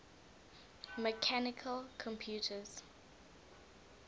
mechanical computers